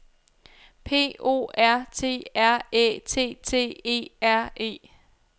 P O R T R Æ T T E R E